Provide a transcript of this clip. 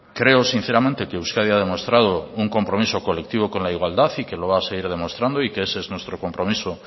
creo sinceramente que euskadi ha demostrado un compromiso colectivo con la igualdad y que lo va a seguir demostrando y que ese es nuestro compromiso